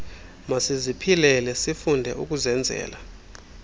masiziphilele sifunde ukuzenzela